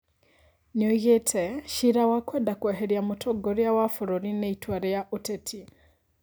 Nĩoigĩte "Ciira wa kwenda kweheria mũtongoria wa bũrũri nĩ itua rĩa ũteti"